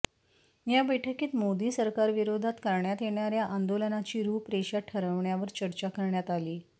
या बैठकीत मोदी सरकारविरोधात करण्यात येणाऱ्या आंदोलनाची रुपरेषा ठरवण्यावर चर्चा करण्यात आली